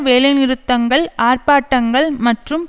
வேலைநிறுத்தங்கள் ஆர்ப்பாட்டங்கள் மற்றும்